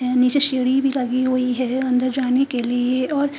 यहाँ नीचे सीढ़ी भी लगी हुई है अंदर जाने के लिए और--